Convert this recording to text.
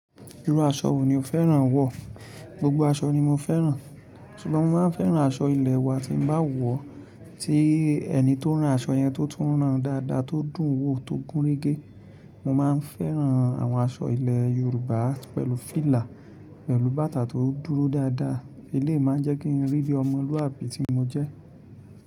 Irú aṣọ wo ni o fẹ́ràn wọ̀? Gbogbo aṣọ ni mo fẹ́ràn. Ṣùgbọ́n mo máa ń fẹ́ràn aṣọ ilẹ̀ wa tí mo bá wọ̀, tí ẹni tó rán aṣọ yẹn tó tún rán dáadáa, tó dùn wò, tó gúnrégé. Mo máa ń fẹ́ràn àwọn aṣọ ilẹ̀ Yorùbá pẹ̀lú fìlà, pẹ̀lú bàtà tó dúró dáadáa. Eleyii máa ń jẹ́ kí n rí bí ọmọlúàbí tí mo jẹ́.